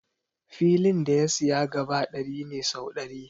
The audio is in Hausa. Filin da ya siya gaba ɗari ne sau ɗari.